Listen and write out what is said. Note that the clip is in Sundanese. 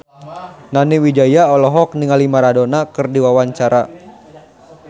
Nani Wijaya olohok ningali Maradona keur diwawancara